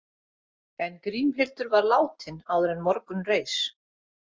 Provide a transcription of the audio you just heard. En Grímhildur var látin áður en morgun reis.